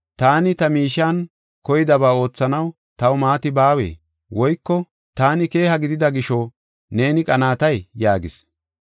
Taani ta miishiyan koydaba oothanaw taw maati baawee? Woyko taani keeha gidida gisho neeni qanaatay?’ yaagis.